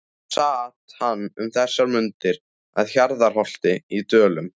Sat hann um þessar mundir að Hjarðarholti í Dölum.